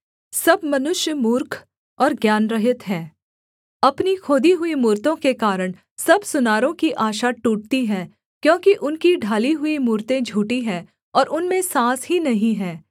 सब मनुष्य मूर्ख और ज्ञानरहित हैं अपनी खोदी हुई मूरतों के कारण सब सुनारों की आशा टूटती है क्योंकि उनकी ढाली हुई मूरतें झूठी हैं और उनमें साँस ही नहीं है